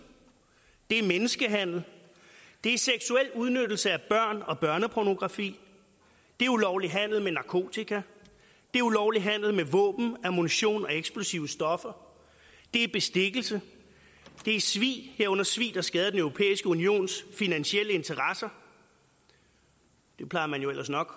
det er menneskehandel det er seksuel udnyttelse af børn og børnepornografi det er ulovlig handel med narkotika det er ulovlig handel med våben ammunition og eksplosive stoffer det er bestikkelse det er svig herunder svig der skader den europæiske unions finansielle interesser det plejer man jo ellers nok